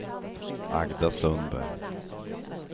Agda Sundberg